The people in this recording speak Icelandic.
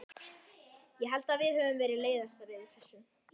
Já, ég held að við höfum verið leiðastar yfir þessu.